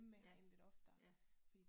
Ja, ja